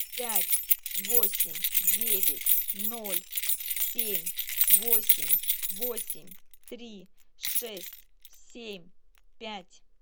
пять восемь девять ноль семь восемь восемь три шесть семь пять